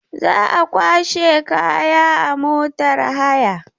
Za a kwashe kaya a motar haya.